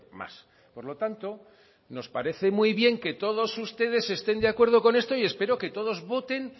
más por lo tanto nos parece muy bien que todos ustedes estén de acuerdo con esto y espero que todos voten